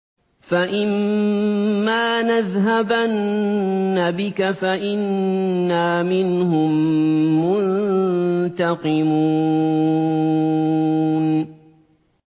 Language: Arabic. فَإِمَّا نَذْهَبَنَّ بِكَ فَإِنَّا مِنْهُم مُّنتَقِمُونَ